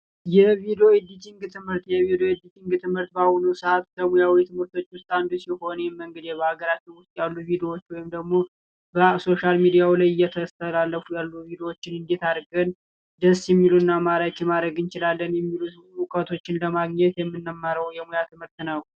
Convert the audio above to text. የቪዲዮ ኤዲቲንግ ትምህርት የቪዲዮ ኤዲቲንግ ትምህርት በአሁኑ ሰአት ከሙያዊ ትምህርቶች ውስጥ አንዱ ሲሆን ይሄም እንግዲህ በሀገራችን ውስጥ ያሉ ቪዲዮዎች ወይም ደግሞ በሶሻል ሚዲያው ላይ እየተተላለፉ ያሉ ቪዲዮዎች ኤዲት ማድረግ እንችላለን። ብዙ እውቀቶችን ለማግኘት የምንማረው የሙያ ትምህርት ነው።